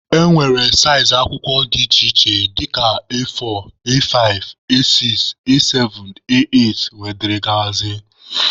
E nwere saịzị akwụkwọ dị iche iche dịka A4, A5,A6,A7,A8 wdg.